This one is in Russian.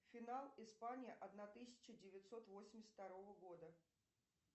финал испания одна тысяча девятьсот восемьдесят второго года